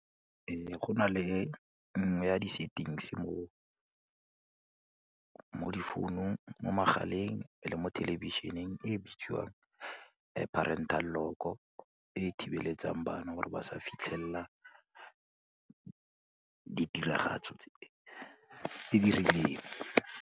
Go na le nngwe ya di settings mo difounung mo magaleng le mo thelebišeneng e bitswang parental lock-o e thibeletsang bana gore ba sa fitlhella ditiragatso tse di rileng.